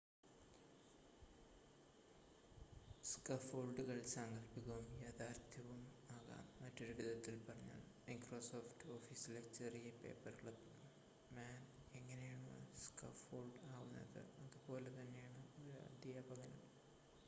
സ്കാഫൊൾഡുകൾ സാങ്കൽപ്പികവും യഥാർത്ഥവും ആകാം മറ്റൊരു വിധത്തിൽ പറഞ്ഞാൽ മൈക്രോസോഫ്റ്റ് ഓഫീസിലെ ചെറിയ പേപ്പർക്ലിപ്പ് മാൻ എങ്ങനെയാണോ സ്കാഫോൾഡ് ആവുന്നത് അതുപോലെ തന്നെയാണ് ഒരു അദ്ധ്യാപകനും